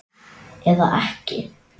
Eða ekki.